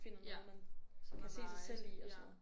Ja som er meget ja